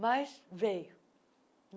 Mas veio.